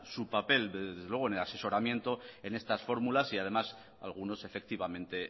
su papel desde luego en el asesoramiento en estas fórmulas y además algunos efectivamente